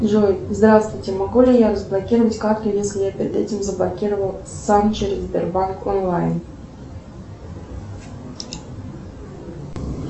джой здравствуйте могу ли я разблокировать карту если я перед этим заблокировал сам через сбербанк онлайн